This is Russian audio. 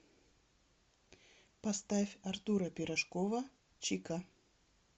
поставь артура пирожкова чика